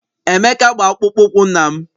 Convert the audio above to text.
Emeka gba akpụkpọ ụkwụ nna m.